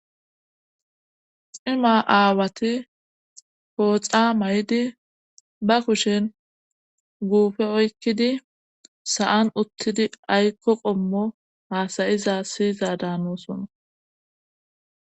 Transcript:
Cima aawati pooxa may7idi ba kushen guufe oykkidi sa7an uttidi aykko qommo haasayiza siyiza daanosona.